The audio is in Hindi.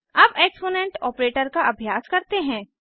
अब एक्सपोनेंट ऑपरेटर का अभ्यास करते हैं